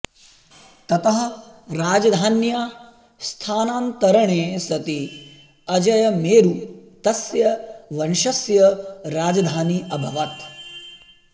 ततः राजधान्याः स्थानान्तरणे सति अजयमेरु तस्य वंशस्य राजधानी अभवत्